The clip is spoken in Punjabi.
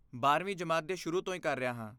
ਬਾਰਵੀਂ ਜਮਾਤ ਦੇ ਸ਼ੁਰੂ ਤੋਂ ਹੀ ਕਰ ਰਿਹਾ ਹਾਂ